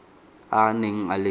a a neng a le